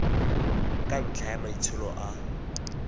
ka ntlha ya maitsholo a